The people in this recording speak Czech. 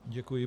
Děkuji.